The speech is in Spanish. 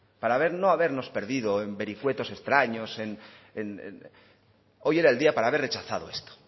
para habernos no habernos perdidos en vericuetos extraños en hoy era el día para haber rechazado esto